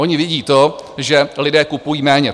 Oni vidí to, že lidé kupují méně.